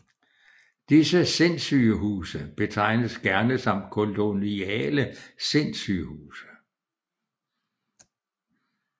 Disse Sindssygehuse betegnes gerne som koloniale Sindssygehuse